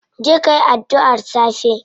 Je kayi adduar safe.